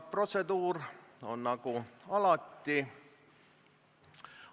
Protseduur on nagu alati.